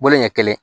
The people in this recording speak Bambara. Bolo ɲɛ kelen